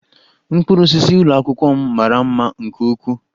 Mkpụrụ osisi ụlọ akwụkwọ m mara mma nke ukwuu